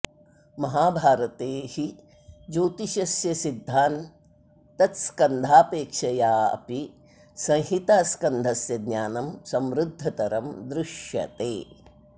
महाभारते हि ज्योतिषस्य सिद्धान्तस्कन्धापेक्षयाऽपि संहितास्कन्धस्य ज्ञानं समृद्धतरं दृश्यते